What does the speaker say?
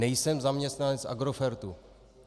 Nejsem zaměstnanec Agrofertu.